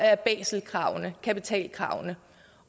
af baselkravene kapitalkravene